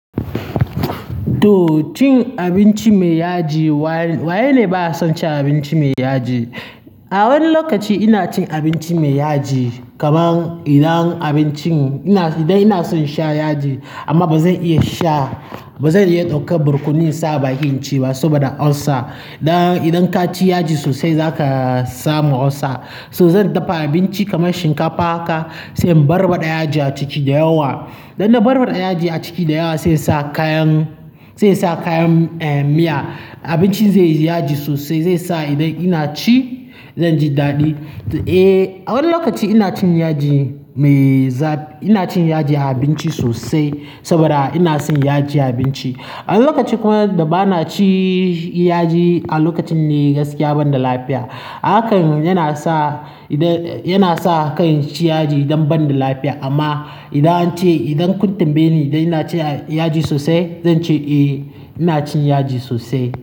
To cin abinci mai yaji, waye ne ba ya son cin abinci mai yaji? A wani lokaci ina cin abinci mai yaji kaman idan abincin-- idan ina son sha yaji amma ba zan iya sha, ba zan iya dauka birkuni saba bakin ci ba saboda ulcer. Idan ka ci yaji sosai za ka samu ulcer. So zan dafa abinci kamar shinkafa ka sai in barbaɗa yaji a ciki da yawa. Dan da barbaɗa yaji a ciki da yawa sai sa kayan, sai sa kayan, eh, miya. Abincin zai yi yaji sosai, zai sa idan ina ci zan ji daɗi. Eh, a wani lokaci ina cin yaji mai za-- ina cin yaji a abinci sosai saboda ina son yaji a abinci. A wani lokaci kuma da ba na ci yaji a lokacin ne gaskiya banda lafiya. Hakan yana sa, yana sa kan ci yaji idan banda lafiya amma idan an ce idan kun tambaye ni da ina ci yaji sosai zan ce eh ina cin yaji sosai.